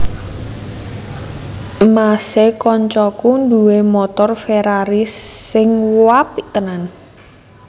Mas e koncoku duwe montor Ferrari sing uapik tenan